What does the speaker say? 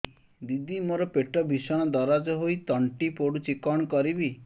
ଦିଦି ମୋର ପେଟ ଭୀଷଣ ଦରଜ ହୋଇ ତଣ୍ଟି ପୋଡୁଛି କଣ କରିବି